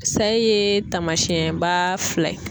Sayi tamasiyɛn ba fila ye.